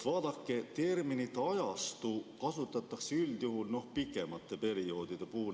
Vaadake, terminit "ajastu" kasutatakse üldjuhul pikemate perioodide puhul.